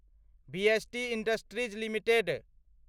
VST industries limited